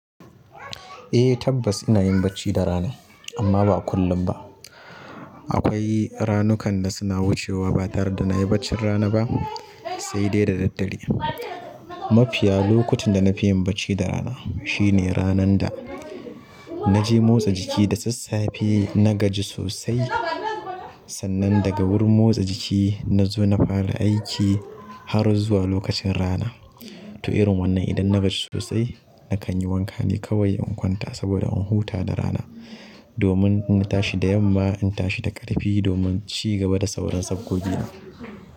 Eh tabbas ina yin bacci da rana, amma ba kullum ba. Akwai ranukan da suna wucewa ba tare da na yi bacci rana ba, sai dai da daddare. Mafiya lokutan da na fi yin bacci da rana shine ranan da naje motsa jiki da sassafe na gaji sosai. Sannan daga wurin motsa jiki na zo na fara aiki har zuwa lokacin rana. To irin wannan idan na gaji sosai nakanyi wanka ne kawai in kwanta saboda in huta da rana domin in tashi da yamma in tashi da ƙarfi domin ci gaba da sauran sabgogina.